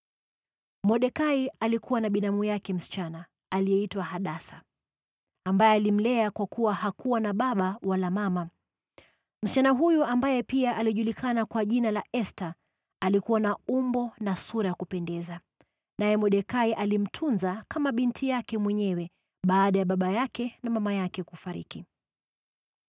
Mordekai alikuwa na binamu yake msichana aliyeitwa Hadasa, ambaye alimlea kwa kuwa hakuwa na baba wala mama. Msichana huyu, ambaye pia alijulikana kwa jina la Esta, alikuwa na umbo na sura ya kupendeza, naye Mordekai alimtunza kama binti yake mwenyewe baada ya baba yake na mama yake kufariki.